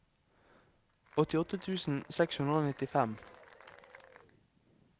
åttiåtte tusen seks hundre og nittifem